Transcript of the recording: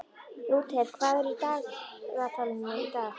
Lúther, hvað er í dagatalinu í dag?